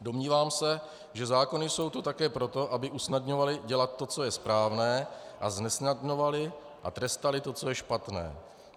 Domnívám se, že zákony jsou tu také proto, aby usnadňovaly dělat to, co je správné, a znesnadňovaly a trestaly to, co je špatné.